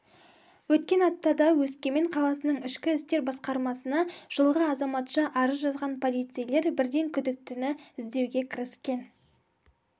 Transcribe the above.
өткен аптада өскемен қаласының ішкі істер басқармасына жылғы азаматша арыз жазған полицейлер бірден күдіктіні іздеуге кіріскен